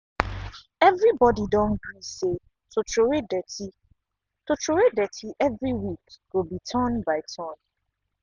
every body don gree say to troway dirty to troway dirty every week go be turn by turn.